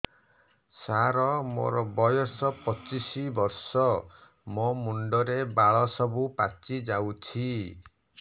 ସାର ମୋର ବୟସ ପଚିଶି ବର୍ଷ ମୋ ମୁଣ୍ଡରେ ବାଳ ସବୁ ପାଚି ଯାଉଛି